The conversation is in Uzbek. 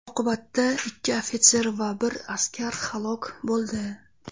Oqibatda ikki ofitser va bir askar halok bo‘ldi.